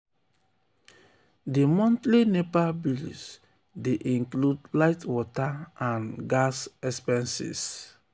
di monthly nepa bills dey um include light water and um gas um expenses.